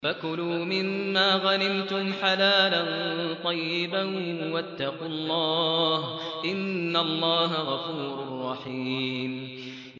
فَكُلُوا مِمَّا غَنِمْتُمْ حَلَالًا طَيِّبًا ۚ وَاتَّقُوا اللَّهَ ۚ إِنَّ اللَّهَ غَفُورٌ رَّحِيمٌ